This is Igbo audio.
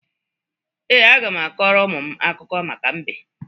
Ee, aga m akọrọ ụmụ m akụkọ maka mbe